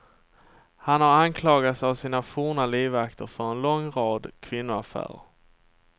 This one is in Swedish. Han har anklagats av sina forna livvakter för en lång rad kvinnoaffärer.